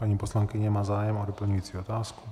Paní poslankyně má zájem o doplňující otázku.